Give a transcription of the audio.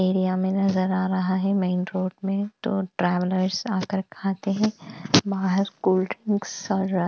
area में नज़र आ रहा है मेन रोड में तो ट्रेवलर्स आकर खाते हैं बाहर कोल ड्रिंकस और --